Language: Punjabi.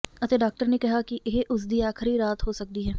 ਅਤੇ ਡਾਕਟਰ ਨੇ ਕਿਹਾ ਕਿ ਇਹ ਉਸਦੀ ਆਖਰੀ ਰਾਤ ਹੋ ਸਕਦੀ ਹੈ